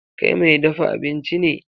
Kai mai dafa abinci ne.